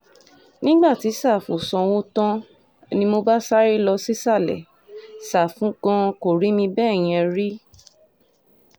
nígbà tí sáfù sanwó tán ni mo bá sáré lọ sísàlẹ̀ ṣàfù gan-an kò rí mi bẹ́ẹ̀ yẹn rí